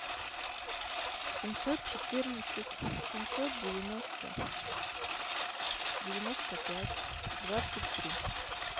семьсот четырнадцать семьсот девяносто девяносто пять двадцать три